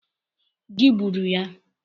Gị gburu ya?